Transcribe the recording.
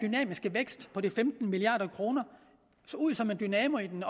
og for femten milliard kroner som dynamo i den